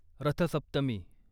रथ सप्तमी